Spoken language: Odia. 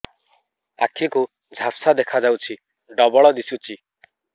ଆଖି କୁ ଝାପ୍ସା ଦେଖାଯାଉଛି ଡବଳ ଦିଶୁଚି